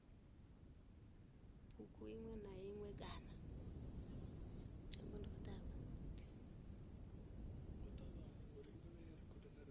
bugu iṅwe na iṅwe kana